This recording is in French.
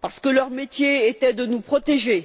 parce que leur métier était de nous protéger